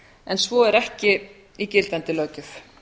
en svo er ekki í gildandi löggjöf